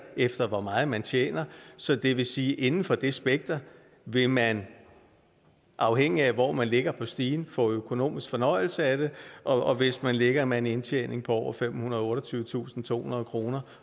efter hvor meget man tjener så det vil sige at inden for det spekter vil man afhængigt af hvor man ligger på stigen få økonomisk fornøjelse af det og hvis man ligger med en indtjening på over femhundrede og otteogtyvetusindtohundrede kroner